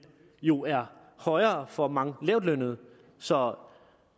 jo er højere for mange lavtlønnede så